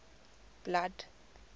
blood